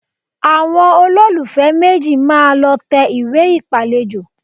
Àwọn olólùfẹ́ méjì máa lọ tẹ ìwé ìpàlejò